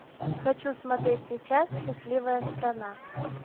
хочу смотреть сейчас счастливая страна